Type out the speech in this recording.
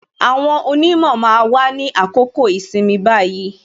Àwọn onimo máa wà ní àkókò ìsinmi báyìí